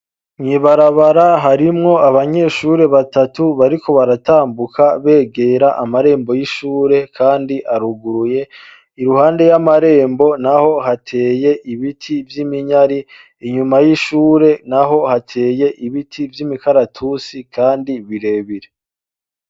Mwibarabara harimwo abanyeshuri batatu bariko baratambuka begera amarembo y'ishure, kandi aruguruye iruhande y'amarembo na ho hateye ibiti vy'iminyari inyuma y'ishure na ho hateye ibiti vy'imikaratusi, kandi birebire.